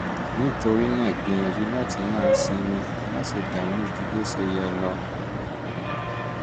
nítorí náà gbìyànjú láti masinmi má se dààmú ju bó ṣe yẹ lọ! ire o